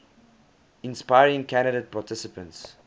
inspiring candidate participants